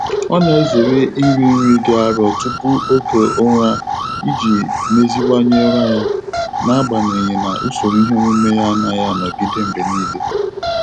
Ọ na-ezere iri nri dị arọ tupu oge ụra iji meziwanye ụra ya, n'agbanyeghị na usoro iheomume ya anaghị a nogide mgbe niile.